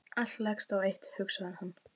Allt leggst á eitt hugsaði hann.